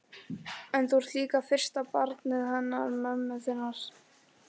En þú ert líka fyrsta barnið hennar mömmu þinnar.